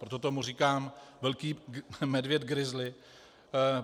Proto tomu říkám velký medvěd grizzly.